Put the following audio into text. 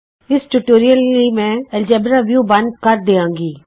ਇਸ ਟਯੂਟੋਰਿਅਲ ਲਈ ਮੈਂ ਐਲਜੇਬਰਾ ਵਿਊ ਬੰਦ ਕਰ ਦਿਆਂਗੀ